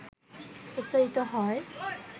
উচ্চারিত হয়,